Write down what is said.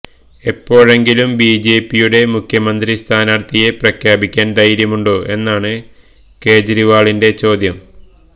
ഇപ്പോഴെങ്കിലും ബിജെപിയുടെ മുഖ്യമന്ത്രി സ്ഥാനാർഥിയെ പ്രഖ്യാപിക്കാൻ ധൈര്യമുണ്ടോ എന്നാണ് കെജ്രിവാളിന്റെ ചോദ്യം